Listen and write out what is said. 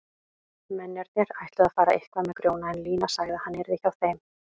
Mennirnir ætluðu að fara eitthvað með Grjóna en Lína sagði að hann yrði hjá þeim.